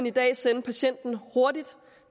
i dag sende patienten hurtigt